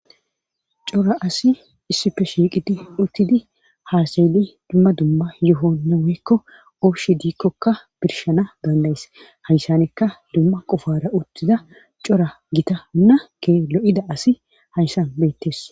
Cora asi issipe shiiqidi uttidi haasayeli dumma dumma yohonne woykko ooshi diikkokka birshana dandayes hayssanekka dumma qofara uttida cora gita hunna ke lo7ida asi hayssan beettes.